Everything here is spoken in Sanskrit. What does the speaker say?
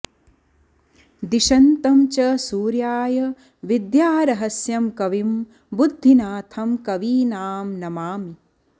दिशन्तं च सूर्याय विद्यारहस्यं कविं बुद्धिनाथं कवीनां नमामि